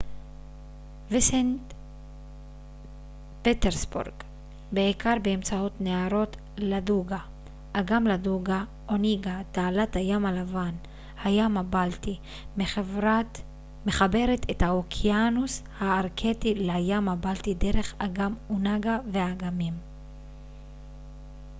תעלת הים הלבן–הים הבלטי מחברת את האוקיינוס הארקטי לים הבלטי דרך אגם אונגה onega אגם לדוגה ladoga וסנט פטרסבורג בעיקר באמצעות נהרות ואגמים